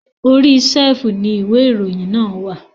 Orí ṣẹ́fùù ni ìwé ìròyìn náà wà.